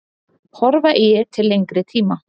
Horfa eigi til lengri tíma.